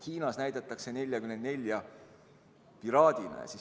Hiinas näidatakse "1944" piraadina.